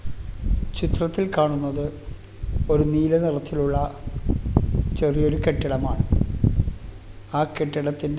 ചിത്രത്തിൽ കാണുന്നത് ഒരു നീല നിറത്തിലുള്ള ചെറിയൊരു കെട്ടിടമാണ് ആ കെട്ടിടത്തിന്റെ--